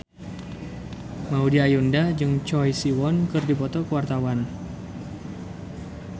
Maudy Ayunda jeung Choi Siwon keur dipoto ku wartawan